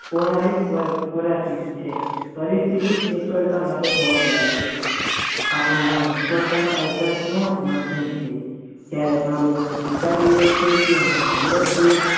તેમાં હોય પદ જે ક્રાંતિ છે પરિસ્થિ પૂછવા જવાબદાર છે આજે મુખ્યત્વે આચાર નો માધ્યમ છે જયારે મારુ મન સ્વીકારી લેય છે કે હું હમજા જ છુ.